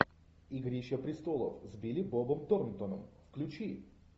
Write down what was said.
игрища престолов с билли бобом торнтоном включи